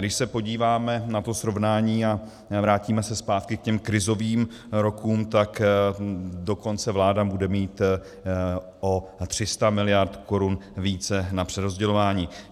Když se podíváme na to srovnání a vrátíme se zpátky k těm krizovým rokům, tak dokonce vláda bude mít o 300 miliard korun více na přerozdělování.